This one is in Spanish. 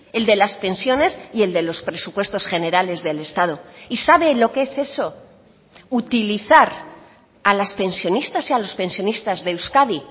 el de las pensiones y el de los presupuestos generales del estado y sabe lo qué es eso utilizar a las pensionistas y a los pensionistas de euskadi